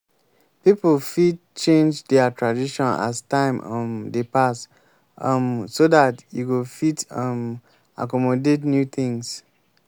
pipo fit change their tradition as time um dey pass um so dat e go fit um accomodat new things